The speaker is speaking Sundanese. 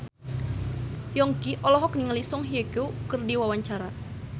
Yongki olohok ningali Song Hye Kyo keur diwawancara